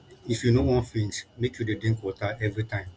if you no wan faint make you dey drink water everytime